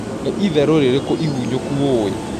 nĩ ĩtherũ rĩrĩkũ ĩhũnyũkũ ũũwĩ